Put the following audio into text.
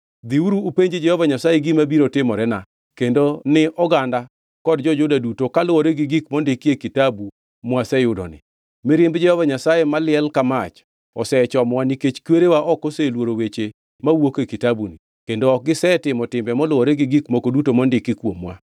“Dhiuru upenj Jehova Nyasaye gima biro timorena, kendo ni oganda kod jo-Juda duto kaluwore gi gik mondiki e kitabu mwaseyudoni. Mirimb Jehova Nyasaye maliel ka mach osechomowa nikech kwerewa ok oseluoro weche mawuok e kitabuni; kendo ok gisetimo timbe moluwore gi gik moko duto mondiki kuomwa.”